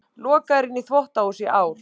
Lokaður inni í þvottahúsi í ár